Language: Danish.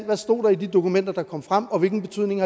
der stod i de dokumenter der kom frem og hvilken betydning